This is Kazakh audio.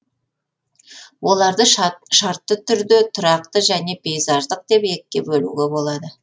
оларды шартты түрде тұрақты және пейзаждық деп екіге бөлуге болады